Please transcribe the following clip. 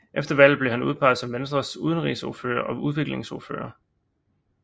Efter valget blev han udpeget som Venstres Udenrigsordfører og udviklingsordfører